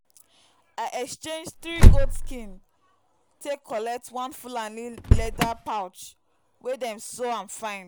i exchange three goat skin take collect one fulani leather pouch wey dem sew am fine.